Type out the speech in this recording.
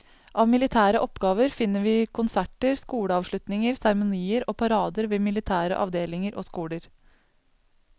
Av militære oppgaver finner vi konserter, skoleavslutninger, seremonier og parader ved militære avdelinger og skoler.